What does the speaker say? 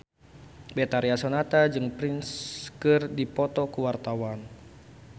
Betharia Sonata jeung Prince keur dipoto ku wartawan